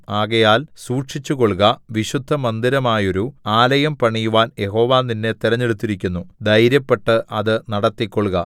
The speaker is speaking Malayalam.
ആകയാൽ സൂക്ഷിച്ചുകൊൾക വിശുദ്ധമന്ദിരമായൊരു ആലയം പണിയുവാൻ യഹോവ നിന്നെ തിരഞ്ഞെടുത്തിരിക്കുന്നു ധൈര്യപ്പെട്ട് അത് നടത്തികൊൾക